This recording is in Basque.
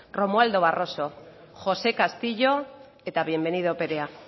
romualdo barroso josé castillo eta bienvenido perea